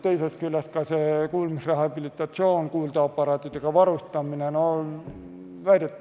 Teisest küljest, kuulmisrehabilitatsioon, kuuldeaparaatidega varustamine.